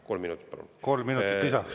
Kolm minutit lisaks.